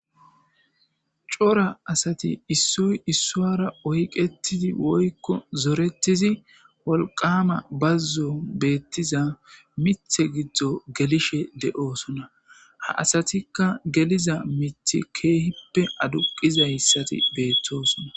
Coora assathi issoy issuwara oyqethizi woykko zorethizi wolqqam bazon bethiza miththe gido gelishe deo'ssonna. Ha assathikka gelizz mithi kehippe aduqizayssathi bethossona.